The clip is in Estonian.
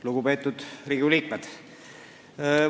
Lugupeetud Riigikogu liikmed!